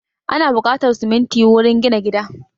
Ana buƙatar siminti wurin gina gida